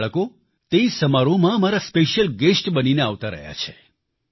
તે બાળકો તે સમારોહમાં મારા સ્પેશ્યીલ ગેસ્ટ બનીને આવતા રહ્યા છે